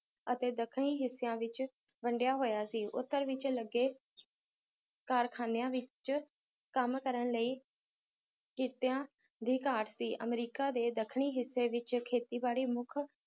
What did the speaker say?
ਅਤੇ ਦੱਖਣੀ ਹਿੱਸਿਆਂ ਵਿਚ ਵੰਡਿਆ ਹੋਇਆ ਸੀ ਉਤਰ ਵਿੱਚ ਲੱਗੇ ਕਾਰਖਾਨਿਆਂ ਵਿੱਚ ਕੰਮ ਕਰਨ ਲਈ ਕੀਤੀਆ ਦੀ ਘਾਟ ਸੀ ਅਮਰੀਕਾ ਦੇ ਦੱਖਣੀ ਹਿੱਸੇ ਵਿੱਚ ਖੇਤੀਬਾੜੀ ਮੁੱਖ